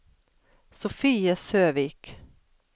Sofie Søvik